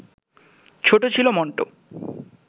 ছোট ছিল মণ্ট